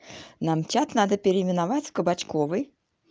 нам чат надо переименовать в кабачковой